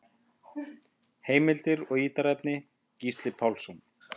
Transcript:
Heimildir og ítarefni: Gísli Pálsson.